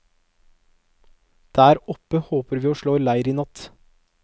Der oppe håper vi å slå leir i natt.